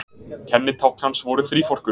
kennitákn hans voru þríforkur